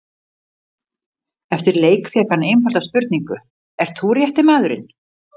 Eftir leik fékk hann einfalda spurningu, ert þú rétti maðurinn?